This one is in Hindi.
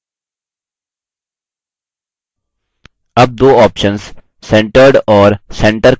अब दो options centered और centre के मध्य अंतर समझते हैं